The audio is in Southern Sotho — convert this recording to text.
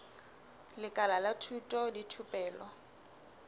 lekala la thuto le thupelo